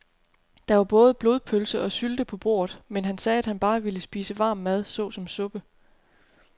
Der var både blodpølse og sylte på bordet, men han sagde, at han bare ville spise varm mad såsom suppe.